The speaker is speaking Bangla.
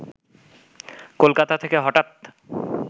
কলকাতা থেকে হঠাৎ